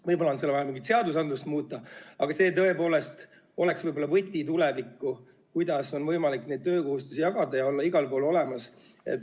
Võib-olla on seal vaja seadusandlust muuta, aga see tõepoolest võiks olla võti tulevikku, kuidas on võimalik töökohustusi jagada ja olla igal pool olemas.